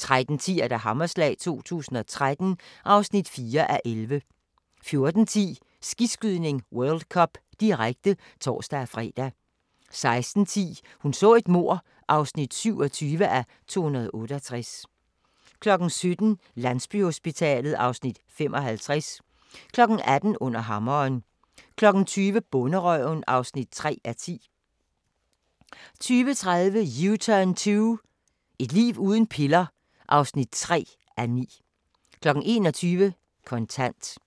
13:10: Hammerslag 2013 (4:11) 14:10: Skiskydning: World Cup, direkte (tor-fre) 16:10: Hun så et mord (27:268) 17:00: Landsbyhospitalet (Afs. 55) 18:00: Under hammeren 20:00: Bonderøven (3:10) 20:30: U-turn 2 – et liv uden piller (3:9) 21:00: Kontant